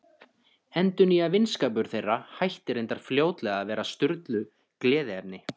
Endurnýjaður vinskapur þeirra hætti reyndar fljótlega að vera Sturlu gleðiefni.